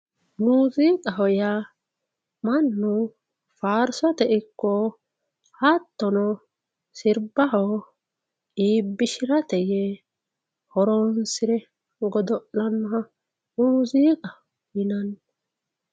Muziiqaho yaa mannu faarsote ikko hattono sirbaho iibbishirate yee horonsire godo'lanoha muziiqa yinanni.